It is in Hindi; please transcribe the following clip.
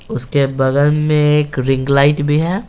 उसके बगल में एक रिंग लाइट भी है।